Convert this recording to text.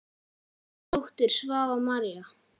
Þín dóttir, Svava María.